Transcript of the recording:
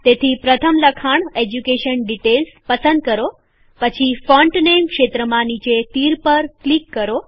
તેથી પ્રથમ લખાણ એજ્યુકેશન ડીટેઈલ્સ પસંદ કરો પછી ફોન્ટ નેમ ક્ષેત્રમાં નીચે તીર પર ક્લિક કરો